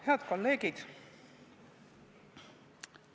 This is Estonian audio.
Head kolleegid!